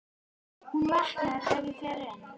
Hún vaknar ef ég fer inn.